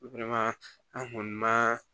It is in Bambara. an kɔni ma